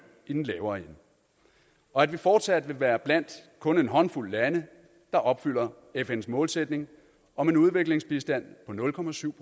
i den lavere ende og at vi fortsat vil være blandt kun en håndfuld lande der opfylder fns målsætning om en udviklingsbistand på nul procent